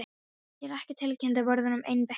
Hér er ekkert tilkynnti vörðurinn einbeittur.